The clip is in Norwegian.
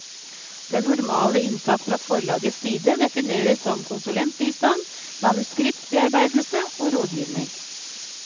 Den normale innsats fra forlagets side defineres som konsulentbistand, manuskriptbearbeidelse og rådgivning.